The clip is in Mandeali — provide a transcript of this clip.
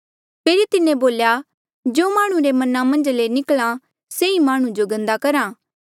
फेरी तिन्हें बोल्या जो माह्णुं रे मना मन्झा ले निकल्हा से ई माह्णुं जो गन्दा करहा